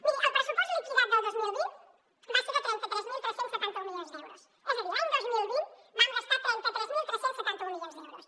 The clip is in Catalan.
miri el pressupost liquidat del dos mil vint va ser de trenta tres mil tres cents i setanta un milions d’euros és a dir l’any dos mil vint vam gastar trenta tres mil tres cents i setanta un milions d’euros